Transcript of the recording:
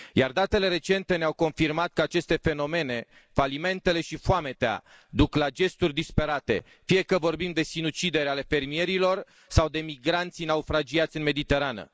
Datele recente ne au confirmat că aceste fenomene falimentele și foametea duc la gesturi disperate, fie că vorbim de sinucideri ale fermierilor sau de migranții naufragiați în Mediterană.